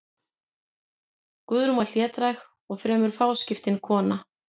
Guðrún var hlédræg og fremur fáskiptin kona.